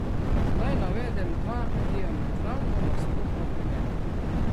Naj navedem dva diametralno nasprotna primera.